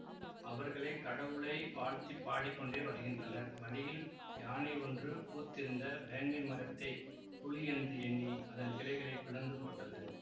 அவர்கள் கடவுளை வாழ்த்திப் பாடிக்கொண்டே வருகின்றனர் வழியில் யானை ஒன்று பூத்திருந்த வேங்கைமரத்தைப் புலி என்று எண்ணி அதன் கிளைகளைப் பிளந்து போட்டது